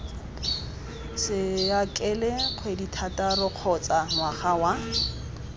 saekele kgwedithataro kgotsa ngwaga wa